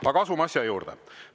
Aga asume asja juurde.